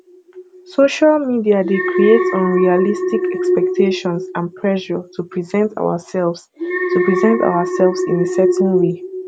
social media dey create unrealistic expectations and pressure to present ourselves to present ourselves in a certain way